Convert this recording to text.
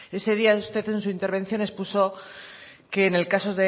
ese día en su intervención expuso que en el caso